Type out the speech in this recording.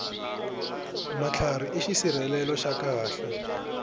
matlhari i xisirhelelo xa khale